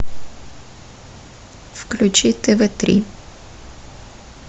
включи тв три